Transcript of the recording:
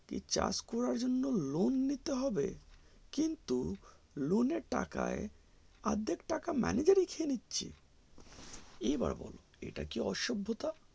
কি চাষ করার জন্য loan নিতে হবে কিন্তু loan এর টাকায় অর্ধেক টাকা manager ই খেয়ে নিচ্ছে এবার বোলো এটা কি অসভ্যতা